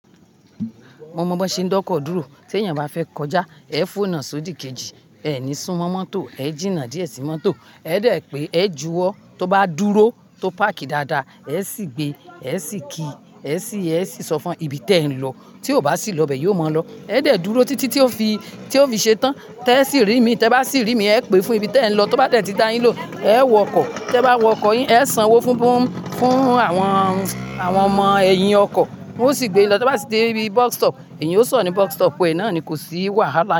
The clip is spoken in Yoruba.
Mo mọ bi won ṣe ń da ọkọ dúró. Tí èèyàn bá fẹ́ kọjá, ẹ fónà sódì kejì, ẹ ní súmọ́ mọ́tò, ẹ jìnnà díẹ̀ sí mọ́tò, ẹ dẹ̀ pé, ẹ juwọ́, tó bá dúró, tó páàkì dáadáa, ẹ sì gbé, ẹ sì ki, ẹ sì, ẹ sì sọ fún ibí tí ẹ ń lọ. Tí ò bá sì lọ bẹ, yiò mọ̀ ọ́ lọ. Ẹ dẹ̀ dúró títí tí ó fi, tí ó fi ṣetán. Tẹ́ ẹ sì rí mi, tẹ bá sì rí mi, ẹ pè fún ẹbí tí ẹ ń lọ. Tó bá dẹ̀ tí da yín lohun, ẹ wọkọ̀, tẹ bá wọkọ̀ yín, ẹ sanwó fún, fún, fún àwọn, àwọn ọmọ ẹ̀yìn ọkọ̀, won o sì gbé yin lọ. Ti won bá sì dé ibi bus stop, eeyan yóò sọ̀ ní bus stop, ẹ náà ni kò sí wàhálà.